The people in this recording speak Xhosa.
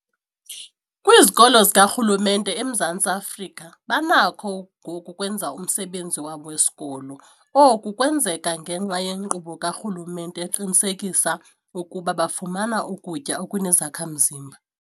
Kwizikolo zikarhulumente eMzantsi Afrika banakho ngoku ukwenza umsebenzi wabo wesikolo. Oku kwenzeka ngenxa yenkqubo karhulumente eqinisekisa ukuba bafumana ukutya okunezakha-mzimba.